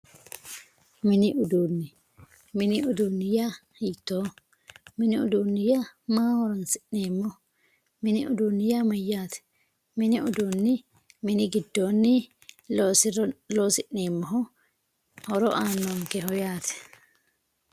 mini uduunne mini uduunne yaa hiittooho mini uduunni yaa maaho horoonsi'neemmoho mini uduunni yaa mayyaate mini uduunni mini giddoonni loosi'neemmoho horo aannonkeho yaate